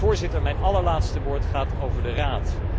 Voorzitter, mijn allerlaatste woord gaat over de Raad.